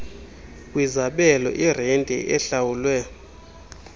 kwizabelo irenti ehlawulwe